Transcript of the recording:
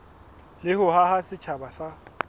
le ho haha setjhaba sa